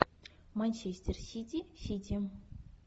манчестер сити сити